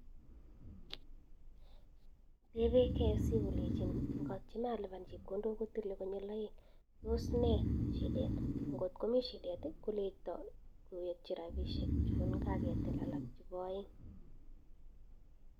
Tebe KFC kolechin ngatyeme alipan chepkondok kotile konyil aend tos ne shidet , ngotkomi shidet koleita kowekchi rabishek chun ka ke til alk chebo aend.